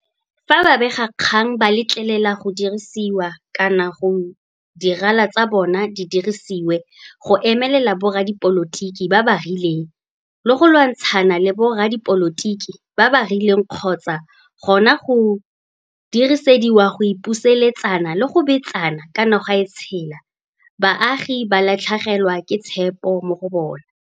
Fa babegakgang ba letlelela go dirisiwa kana gore di rala tsa bona di dirisediwe go emelela boradipolotiki ba ba rileng le go lwantshana le boradipolotiki ba ba rileng kgotsa gona go dirisediwa go ipusuletsana le go betsana ka noga e tshela, baagi ba latlhegelwa ke tshepo mo go bona.